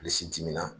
Bilisi timina